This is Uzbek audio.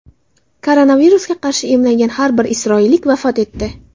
Koronavirusga qarshi emlangan yana bir isroillik vafot etdi.